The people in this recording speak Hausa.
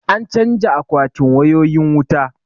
An canja akwatin wayoyin wuta